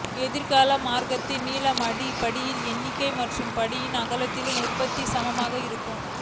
எதிர்கால மார்க்கின் நீளம் அது படிகளின் எண்ணிக்கை மற்றும் படிப்பின் அகலத்தின் உற்பத்திக்கு சமமாக இருக்கும்